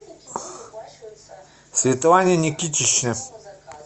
светлане никитичне